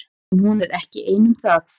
En hún er ekki ein um það.